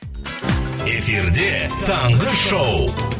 эфирде таңғы шоу